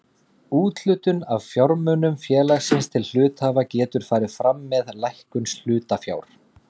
Úthlutun af fjármunum félagsins til hluthafa getur farið fram með lækkun hlutafjár.